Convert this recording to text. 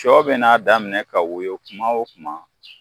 Cɔ bɛn'a daminɛ ka woyo kuma o kuma